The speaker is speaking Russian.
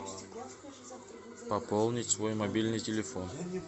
пополнить свой мобильный телефон